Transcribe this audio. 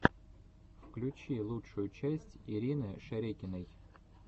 включи лучшую часть ирины шерекиной